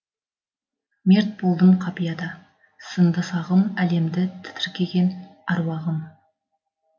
мерт болдым қапияда сынды сағым әлемді тітіркеген аруағым